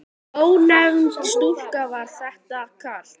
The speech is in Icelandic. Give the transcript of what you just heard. Ónefnd stúlka: Var þetta kalt?